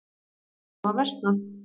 Þær hafa versnað.